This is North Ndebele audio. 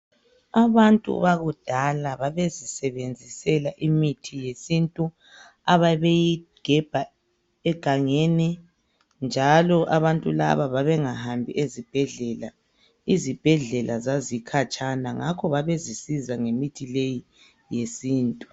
Abantu bakudala babezisebenzisela imithi yesintu ababeyigebha egangeni njalo abantu laba babengahambi ezibhedlela, izibhedlela zazikhatshana ngakho babezisiza ngemithi leyi yesintu.